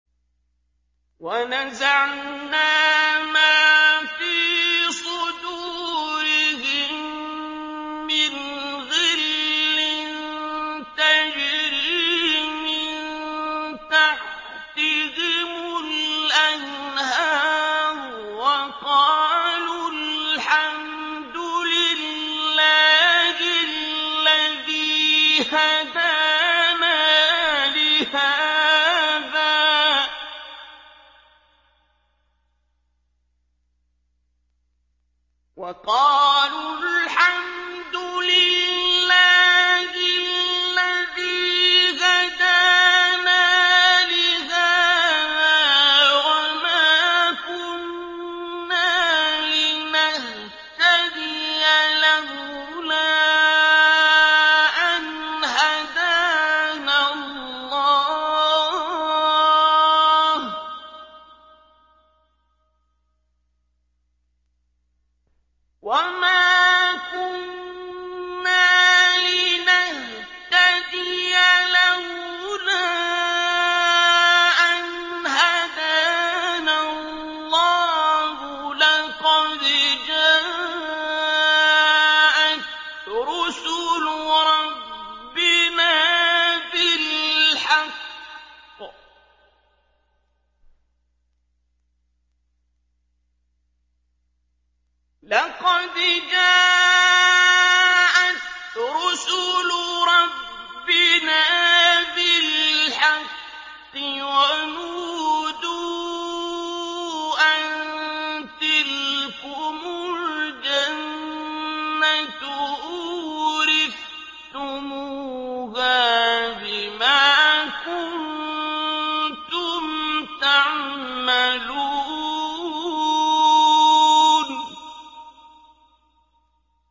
وَنَزَعْنَا مَا فِي صُدُورِهِم مِّنْ غِلٍّ تَجْرِي مِن تَحْتِهِمُ الْأَنْهَارُ ۖ وَقَالُوا الْحَمْدُ لِلَّهِ الَّذِي هَدَانَا لِهَٰذَا وَمَا كُنَّا لِنَهْتَدِيَ لَوْلَا أَنْ هَدَانَا اللَّهُ ۖ لَقَدْ جَاءَتْ رُسُلُ رَبِّنَا بِالْحَقِّ ۖ وَنُودُوا أَن تِلْكُمُ الْجَنَّةُ أُورِثْتُمُوهَا بِمَا كُنتُمْ تَعْمَلُونَ